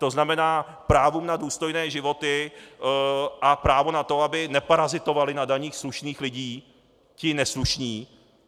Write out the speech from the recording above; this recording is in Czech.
To znamená právu na důstojné životy a právu na to, aby neparazitovali na daních slušných lidí ti neslušní.